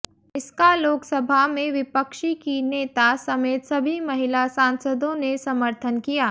इसका लोकसभा में विपक्षी की नेता समेत सभी महिला सांसदों ने समर्थन किया